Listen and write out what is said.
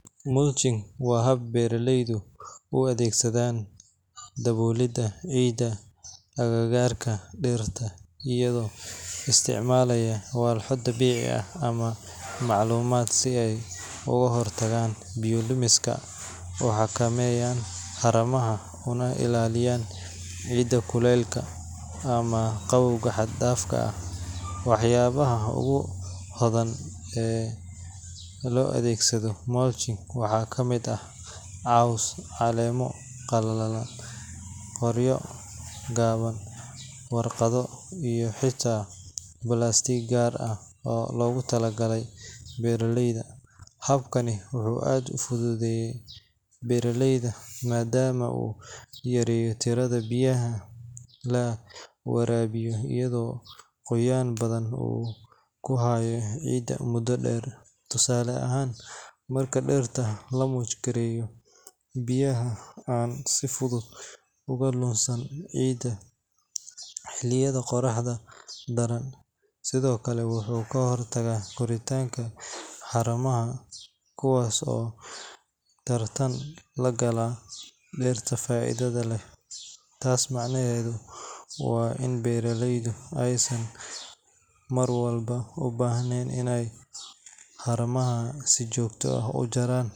Mulching waa hab beeraleydu u adeegsadaan daboolidda ciidda agagaarka dhirta iyagoo isticmaalaya walxo dabiici ah ama macmal ah si ay uga hortagaan biyo lumiska, u xakameeyaan haramaha, ugana ilaaliyaan ciidda kulaylka ama qabowga xad-dhaafka ah. Waxyaabaha ugu badan ee loo adeegsado mulching waxaa ka mid ah caws, caleemo qalalan, qoryo jaban, warqado, iyo xitaa balaastiig gaar ah oo loogu tala galay beeralayda. Habkani wuxuu aad uga faa’iideeyaa beeraleyda maadaama uu yareeyo tirada biyaha la waraabiyo iyadoo qoyaan badan uu ku harayo ciidda muddo dheer. Tusaale ahaan, marka dhirta la mulch gareeyo, biyaha aan si fudud uga lunsan ciidda xilliyada qorraxda daran. Sidoo kale, wuxuu ka hortagaa koritaanka haramaha kuwaas oo tartan la gala dhirta faa’iidada leh. Taas macnaheedu waa in beeraleydu aysan marwalba u baahnayn inay haramaha si joogto ah u jeexaan.